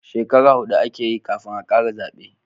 Shekara hudu a ke yi kafin a kara zabe